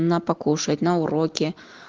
на покушать на уроке